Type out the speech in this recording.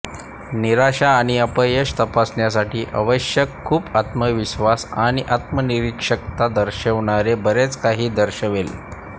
निराशा आणि अपयश तपासण्यासाठी आवश्यक खूप आत्मविश्वास आणि आत्मनिरीक्षता दर्शविणारे बरेच काही दर्शवेल